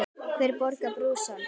Hver borgar brúsann?